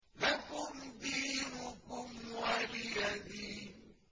لَكُمْ دِينُكُمْ وَلِيَ دِينِ